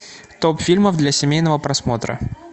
топ фильмов для семейного просмотра